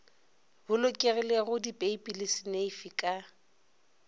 bolokegilego dipeipi le seneifi ka